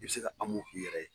I bɛ se ka k'i yɛrɛ ye.